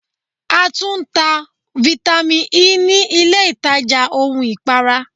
A tún ń ta Vitamin Ẹ ní ilé ìtajà ohun ìpara.